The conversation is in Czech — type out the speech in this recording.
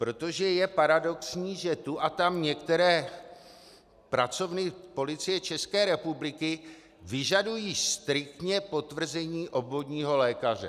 Protože je paradoxní, že tu a tam některé pracovny Policie České republiky vyžadují striktně potvrzení obvodního lékaře.